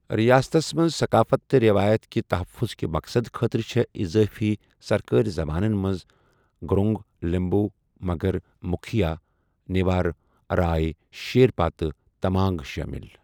رِیاستس منٛز ثقافت تہٕ رٮ۪وایت کہِ تحفظ کہِ مقصد خٲطرٕ چھےٚ اِضٲفی سرکٲرِ زَبانن منٛز گُرُنٛگ، لِمبُو، مگر، مُکھیا، نیوار، رائے، شیرپا تہٕ تَمانٛگ شٲمِل۔